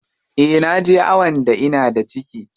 Eh naje awon da ina da ciki.